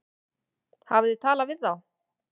Hafið þið talað við þá?